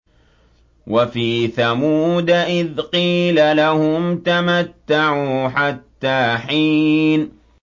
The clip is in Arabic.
وَفِي ثَمُودَ إِذْ قِيلَ لَهُمْ تَمَتَّعُوا حَتَّىٰ حِينٍ